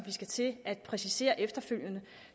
vi skal til at præcisere efterfølgende